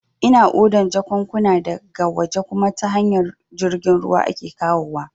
Ina odan jakunkuna da ga waje kuma ta hanyar jirgin ruwa ake kawowa